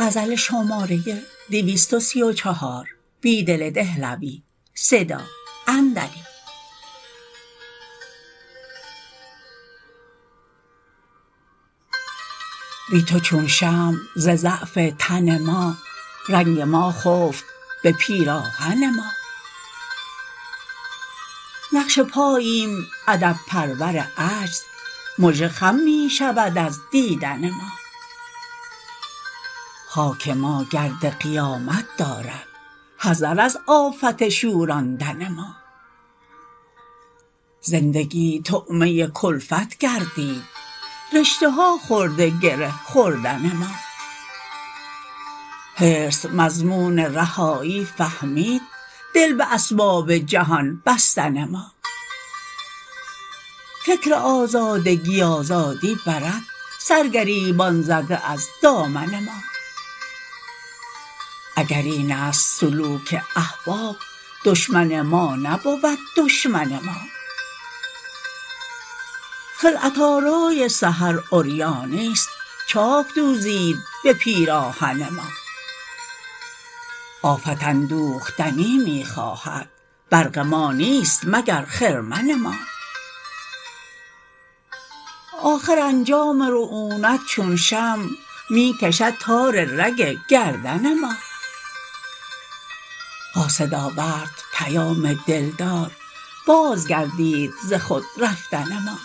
بی تو چون شمع ز ضعف تن ما رنگ ما خفت به پیراهن ما نقش پاییم ادب پرور عجز مژه خم می شود از دیدن ما خاک ما گرد قیامت دارد حذر از آفت شوراندن ما زندگی طعمه کلفت گردید رشته ها خورده گره خوردن ما حرص مضمون رهایی فهمید دل به اسباب جهان بستن ما فکر آزادگی آزادی برد سرگریبان زده از دامن ما اگر این است سلوک احباب دشمن ما نبود دشمن ما خلعت آرای سحر عریانی ست چاک دوزید به پیراهن ما آفت اندوختنی می خواهد برق ما نیست مگر خرمن ما آخر انجام رعونت چون شمع می کشد تار رگ گردن ما قاصد آورد پیام دلدار بازگردید ز خود رفتن ما